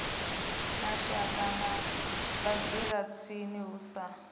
mashaka na vhadzulatsini hu si